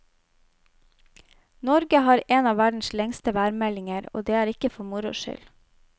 Norge har en av verdens lengste værmeldinger, og det er ikke for moro skyld.